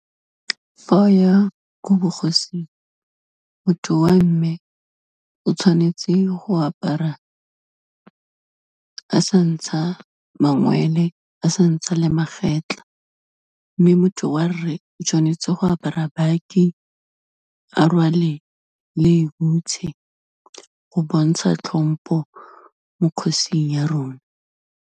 Fa o ya ko bogosing, motho wa mme o tshwanetse go apara a sa ntsha mangwele, a sa ntsha le magetlha. Mme motho wa rre, o tshwanetse go apara baki, a rwale le hutshe, go bontsha tlhompo mo kgosing ya rona.